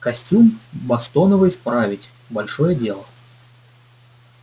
костюм бостоновый справить большое дело